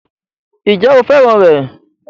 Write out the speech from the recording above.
Ǹjẹ́ o fẹ́ràn rẹ̀?